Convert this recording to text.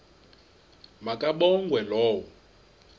ma kabongwe low